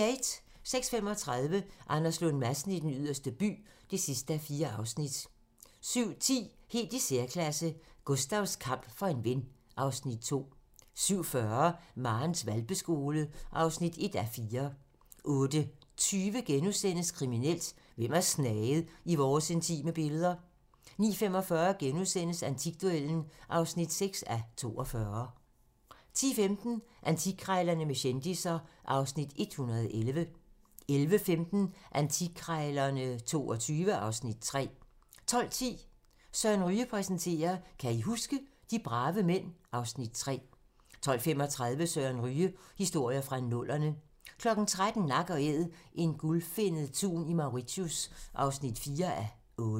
06:35: Anders Lund Madsen i Den Yderste By (4:4) 07:10: Helt i særklasse - Gustavs kamp for en ven (Afs. 2) 07:40: Marens hvalpeskole (1:4) 08:20: Kriminelt: Hvem har snaget i vores intime billeder? * 09:45: Antikduellen (6:42)* 10:15: Antikkrejlerne med kendisser (Afs. 111) 11:15: Antikkrejlerne XXII (Afs. 3) 12:10: Søren Ryge præsenterer: Kan I huske? - de brave mænd (Afs. 3) 12:35: Søren Ryge: Historier fra nullerne 13:00: Nak & æd - en gulfinnet tun i Mauritius (4:8)